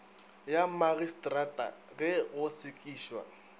ya magistrata ge go sekišwa